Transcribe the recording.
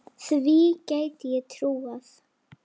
Því gæti ég trúað